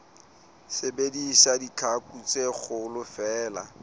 sebedisa ditlhaku tse kgolo feela